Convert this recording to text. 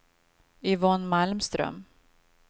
Yvonne Malmström